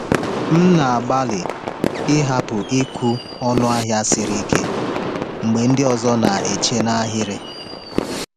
M na-agbalị ịhapụ ịkwụ ọnụ ahịa siri ike mgbe ndị ọzọ na-eche n’ahịrị.